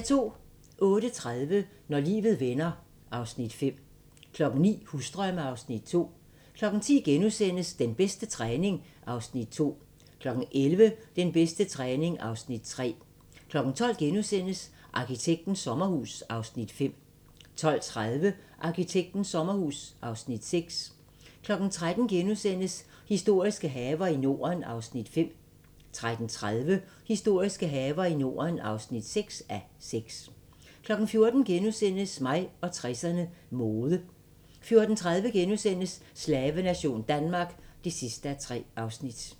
08:30: Når livet vender (Afs. 5) 09:00: Husdrømme (Afs. 2) 10:00: Den bedste træning (Afs. 2)* 11:00: Den bedste træning (Afs. 3) 12:00: Arkitektens sommerhus (Afs. 5)* 12:30: Arkitektens sommerhus (Afs. 6) 13:00: Historiske haver i Norden (5:6)* 13:30: Historiske haver i Norden (6:6) 14:00: Mig og 60'erne: Mode * 14:30: Slavenation Danmark (3:3)*